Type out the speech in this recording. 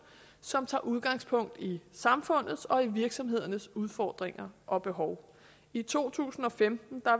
som tager udgangspunkt i samfundets og i virksomhedernes udfordringer og behov i to tusind og femten